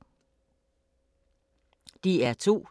DR2